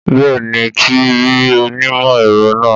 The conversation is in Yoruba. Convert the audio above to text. Bẹ́ẹ̀ ni, ti rí onímọ̀-ẹ̀rọ náà